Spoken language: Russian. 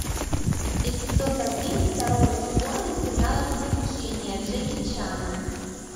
эпизод один второго сезона сериала приключения джеки чана